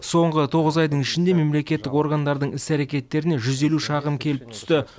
соңғы тоғыз айдың ішінде мемлекеттік органдардың іс әрекеттеріне жүз елу шағым келіп түсті